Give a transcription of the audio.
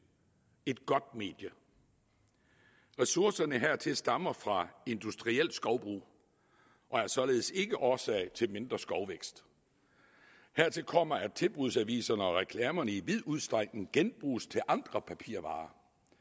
et godt medie ressourcerne hertil stammer fra industrielt skovbrug og er således ikke årsag til mindre skovvækst hertil kommer at tilbudsaviserne og reklamerne i vid udstrækning genbruges til andre papirvarer